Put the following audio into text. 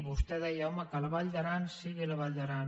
vostè deia home que la vall d’aran sigui la vall d’aran